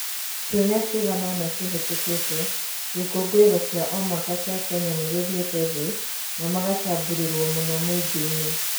Ciumia ciiganona cihĩtũkĩte, gĩkũngũĩro kĩa omwaka kĩa Kenya nĩgĩthiĩte thĩ na magacambũrĩrwo mũno mũingĩini.